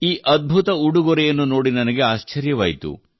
ಈ ಅದ್ಭುತ ಉಡುಗೊರೆಯನ್ನು ನೋಡಿ ನನಗೆ ಆಶ್ಚರ್ಯವಾಯಿತು